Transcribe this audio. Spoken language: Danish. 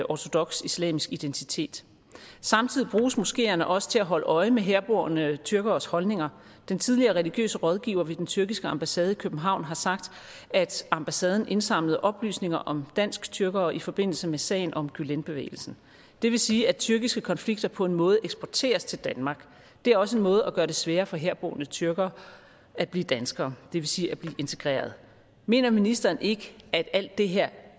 ortodoks islamisk identitet samtidig bruges moskeerne også til at holde øje med herboende tyrkeres holdninger den tidligere religiøse rådgiver ved den tyrkiske ambassade i københavn har sagt at ambassaden indsamlede oplysninger om dansk tyrkere i forbindelse med sagen om gülenbevægelsen det vil sige at tyrkiske konflikter på en måde eksporteres til danmark det er også en måde at gøre det sværere på for herboende tyrkere at blive danskere det vil sige at blive integreret mener ministeren ikke at alt det her